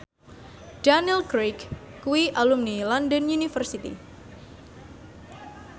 Daniel Craig kuwi alumni London University